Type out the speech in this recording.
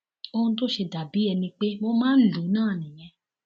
ohun tó ṣe dà bíi ẹni pé mo máa ń lù ú náà nìyẹn